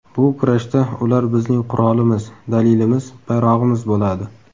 Bu kurashda ular bizning qurolimiz, dalilimiz, bayrog‘imiz bo‘ladi.